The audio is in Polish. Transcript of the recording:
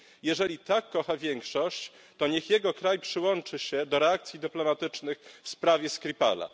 Jeżeli tak kocha większość, to niech jego kraj przyłączy się do reakcji dyplomatycznych w sprawie Skripala.